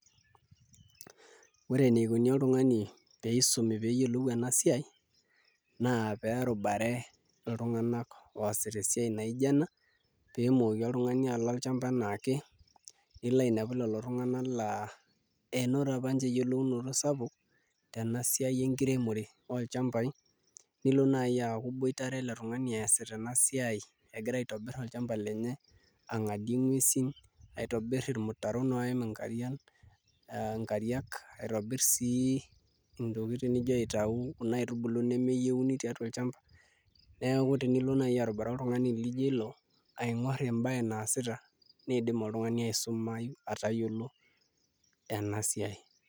Ore enikoni oltung'ani peyie isumi pee eyiolou ena siai naa pee erubare iltung'anak oosita esiai naa ijio ena pee etumoki oltung'ani ashomo olchamba enaake ainepu lelo tung'anak laa enoto apa ninche eyiolounoto sapuk tena siai enkiremore olchamabai nilo naai aaku iboitare ele tung'ani eesita ena siai egira aitobirr olchamba lenye ang'adie nguesi aitobirr irmutaron oiim inkariak aitobirr sii autau kuna tokitin nijio nkaitubulu nemeyieuni tolchamba, neeku tenilo naai arubare oltung'ani laa ijio ilo aing'orr embaye naasita niidim oltung'ani aisumayu atayiolo ena siai.